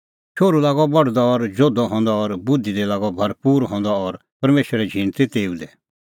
शोहरू लागअ बढदअ और जोधअ हंदअ और बुधि दी लागअ भरपूर हंदअ और परमेशरे झींण ती तेऊ दी